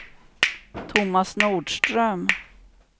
Thomas Nordström